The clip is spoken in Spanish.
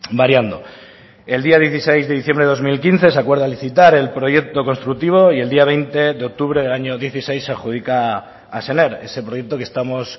variando el día dieciséis de diciembre de dos mil quince se acuerda licitar el proyecto constructivo y el día veinte de octubre del año dieciséis se adjudica a sener ese proyecto que estamos